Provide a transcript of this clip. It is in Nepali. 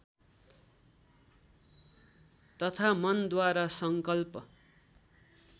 तथा मनद्वारा सङ्कल्प